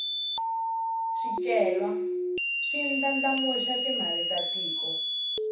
swicelwa swi ndlandlamuxa timali ta tiko